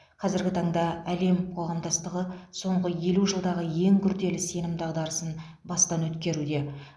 қазіргі таңда әлем қоғамдастығы соңғы елу жылдағы ең күрделі сенім дағдарысын бастан өткеруде